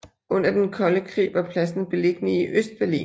Under Den Kolde Krig var pladsen beliggende i Østberlin